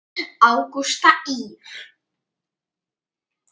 Ágústa Ýr.